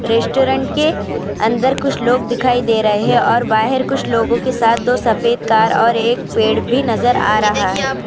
Restaurant کے اندر کچھ لوگ دکھائے دے رہے ہیں اور باہر کچھ لوگوں کے ساتھ اور ایک پھر بھی نظر ارہا ہے.